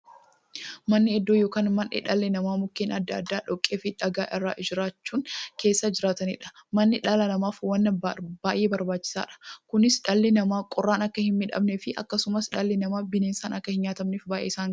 Manni iddoo yookiin mandhee dhalli namaa Mukkeen adda addaa, dhoqqeefi dhagaa irraa ijaarachuun keessa jiraataniidha. Manni dhala namaaf waan baay'ee barbaachisaadha. Kunis, dhalli namaa qorraan akka hinmiidhamneefi akkasumas dhalli namaa bineensaan akka hinnyaatamneef baay'ee isaan gargaara.